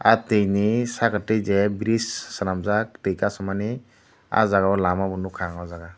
ah twini sakatwi j bridge swnamjak twi kasumani ah jagao lama bo nukha ang oh jaga.